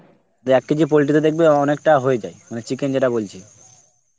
দে এক কেজি poultry তে দেখবি অ~ অনেকটা হয়ে যায়. মানে chicken যেটা বলছি.